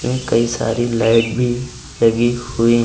ये कई सारी लाइट भी लगी हुई--